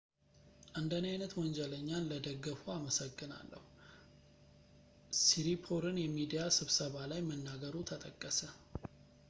"እንደኔ ዓይነት ወንጀለኛን ለደገፉ አመሰግናለሁ፣ ሲሪፖርን የሚዲያ ስብሰባ ላይ መናገሩ ተጠቀሰ።